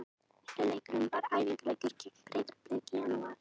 Fyrri leikurinn var æfingaleikur gegn Breiðablik í janúar.